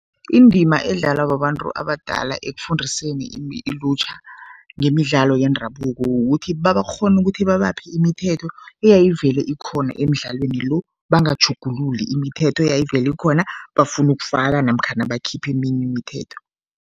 Indima edlalwa babantu abadala ekufundiseni ilutjha ngemidlalo yendabuko kukuthi babakghona ukuthi babaphe imithetho eyayivele ikhona emidlalweni lo, bangatjhugululi imithetho eyayivele ikhona, bafune ukufaka namkhana bakhiphe eminye imithetho.